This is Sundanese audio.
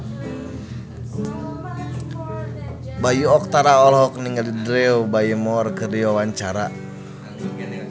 Bayu Octara olohok ningali Drew Barrymore keur diwawancara